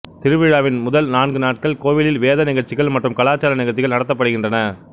திருவிழாவின் முதல் நான்கு நாட்கள் கோவிலில் வேத நிகழ்ச்சிகள் மற்றும் கலாச்சார நிகழ்ச்சிகள் நடத்தப்படுகின்றன